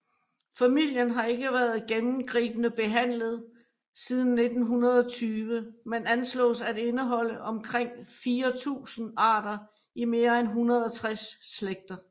Familien har ikke været gennemgribende behandlet siden 1920 men anslås at indeholde omkring 4000 arter i mere end 160 slægter